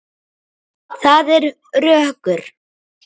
Það er rökkur.